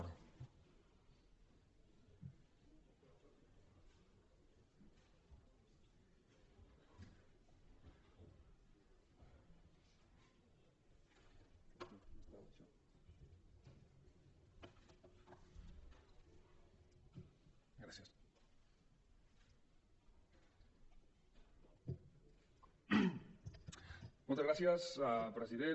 moltes gràcies president